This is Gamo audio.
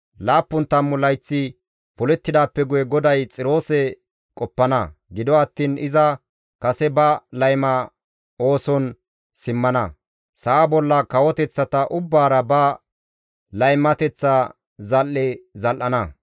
Laappun tammu layththi polettidaappe guye GODAY Xiroose qoppana; gido attiin iza kase ba layma ooson simmana; sa7a bolla kawoteththata ubbaara ba laymateththa zal7e zal7ana.